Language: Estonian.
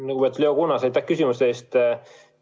Lugupeetud Leo Kunnas, aitäh küsimuste eest!